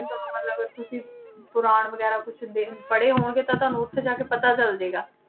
ਤੁਹਾਨੂੰ ਮਤਲਬ ਤੁਸੀਂ ਪੁਰਾਣ ਵਗ਼ੈਰਾ ਕੁਛ ਦੇਖ ਪੜ੍ਹੇ ਹੋਣਗੇ ਤਾਂ ਤੁਹਾਨੂੰ ਉੱਥੇ ਜਾ ਕੇ ਪਤਾ ਚੱਲ ਜਾਏਗਾ